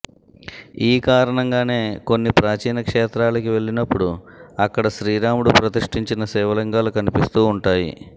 ఈ కారణంగానే కొన్ని ప్రాచీన క్షేత్రాలకి వెళ్లినప్పుడు అక్కడ శ్రీరాముడు ప్రతిష్ఠించిన శివలింగాలు కనిపిస్తూ ఉంటాయి